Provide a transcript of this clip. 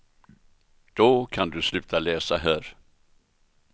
Då kan du sluta läsa här.